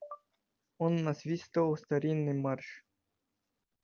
он насвистывал старинный марш